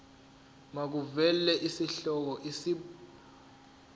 makuvele isihloko isib